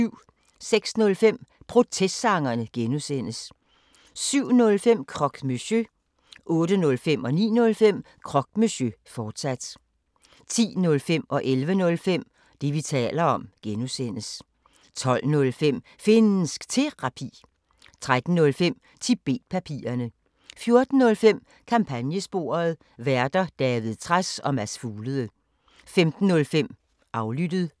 06:05: Protestsangerne (G) 07:05: Croque Monsieur 08:05: Croque Monsieur, fortsat 09:05: Croque Monsieur, fortsat 10:05: Det, vi taler om (G) 11:05: Det, vi taler om (G) 12:05: Finnsk Terapi 13:05: Tibet-papirerne 14:05: Kampagnesporet: Værter: David Trads og Mads Fuglede 15:05: Aflyttet